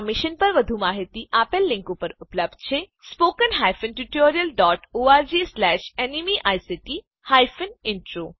આ મિશન પર વધુ માહીતી આપેલ લીંક પર ઉપલબ્ધ છે spoken hyphen tutorial dot ORG slash NMEICT hyphen intro